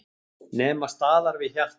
Nema staðar við hjartað.